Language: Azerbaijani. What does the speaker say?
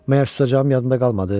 Məgər susacağım yadında qalmadı?